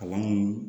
Kalan mun